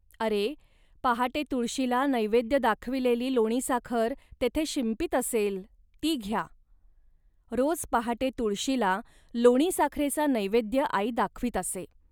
अरे, पहाटे तुळशीला नैवेद्य दाखविलेली लोणीसाखर तेथे शिंपीत असेल, ती घ्या. रोज पहाटे तुळशीला लोणीसाखरेचा नैवेद्य आई दाखवीत असे